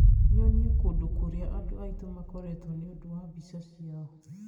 nyonie kũndũ kũrĩa andũ aitũ makoretwo nĩ ũndũ wa mbica ciao